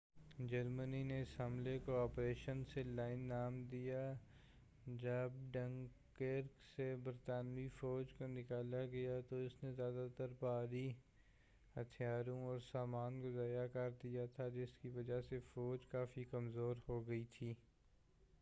جرمنی نے اس حملے کو آپریشن سی لاین نام دیا جب ڈنکرک سے برطانوی فوج کو نکالا کیا گیا تو اس نے زیادہ تر بھاری ہتھیاروں اور سامان کو ضائع کر دیا تھا جس کی وجہ سے فوج کافی کمزور ہو گئی تھی